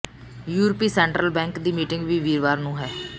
ਯੂਰਪੀ central bank ਦੀ meeting ਵੀ ਵੀਰਵਾਰ ਨੂੰ ਹੈ